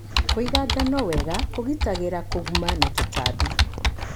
Kũiga ngano wega kũgitagĩra kũguma na tũtambi.